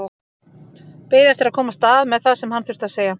Beið eftir að komast að með það sem hann þurfti að segja.